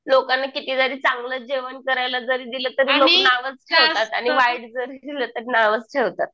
लोकांना किती जरी चांगलं जेवण करायला जरी दिलं तरी नावच ठेवतात आणि वाईट जरी दिलं तरी नावच ठेवतात.